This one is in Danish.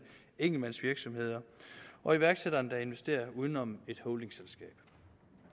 enkeltmandsvirksomheder og iværksættere der investerer uden om et holdingselskab